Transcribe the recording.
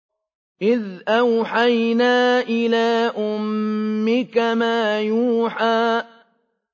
إِذْ أَوْحَيْنَا إِلَىٰ أُمِّكَ مَا يُوحَىٰ